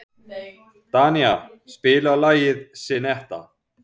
Danía, spilaðu lagið „Syneta“.